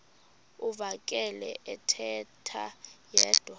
uvakele ethetha yedwa